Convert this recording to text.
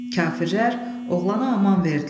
Kafirlər oğlana aman verdilər.